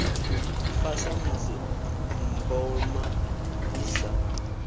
fa samusi mboma i sa